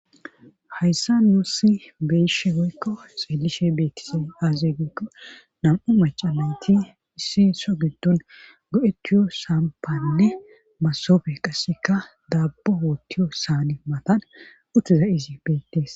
Hayssa nuusi beeshe goykko xeelishe beettise azze goykko nam7u macalayti issi so gindun go7etiyo saampanne masofe qasseka daabbo hoottiyo saane matan uttiza izi beettees.